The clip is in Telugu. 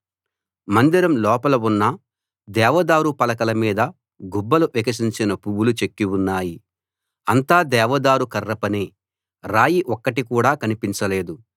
మందిరం లోపల ఉన్న దేవదారు పలకల మీద గుబ్బలు వికసించిన పువ్వులు చెక్కి ఉన్నాయి అంతా దేవదారు కర్ర పనే రాయి ఒక్కటి కూడా కనిపించ లేదు